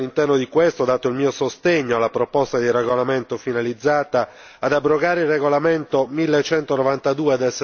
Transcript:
All'interno di questo ho dato il mio sostegno alla proposta di regolamento finalizzata ad abrogare il regolamento n.1192